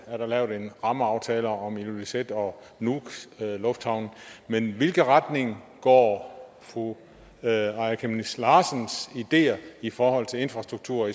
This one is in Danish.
er der lavet en rammeaftale om ilulissats og nuuks lufthavne men i hvilken retning går fru aaja chemnitz larsens ideer i forhold til infrastrukturen